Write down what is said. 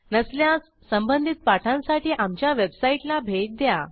नसल्यास संबंधित पाठांसाठी आमच्या वेबसाईटला भेट द्या